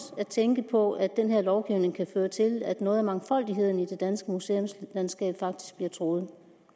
at tænke på at den her lovgivning kan føre til at noget af mangfoldigheden i det danske museumslandskab faktisk bliver truet